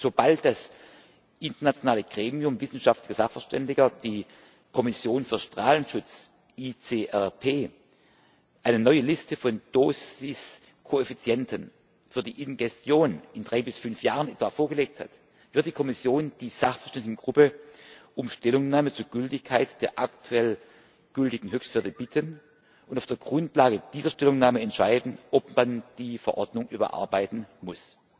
Sobald das internationale Gremium wissenschaftlicher Sachverständiger die Internationale Kommission für Strahlenschutz ICRP eine neue Liste von Dosiskoeffizienten für die Ingestion in drei bis fünf Jahren etwa vorgelegt hat, wird die Kommission die Sachverständigengruppe um Stellungnahme zur Gültigkeit der aktuell gültigen Höchstwerte bitten und auf der Grundlage dieser Stellungnahme entscheiden, ob man die Verordnung überarbeiten muss.